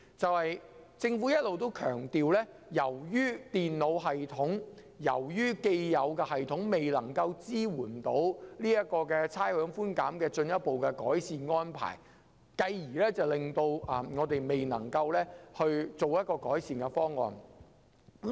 政府一直強調，由於既有的電腦系統未能支援差餉寬減的進一步改善安排，因而未能實施改善方案。